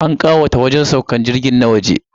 An kawata wajen saukar jirgi na waje.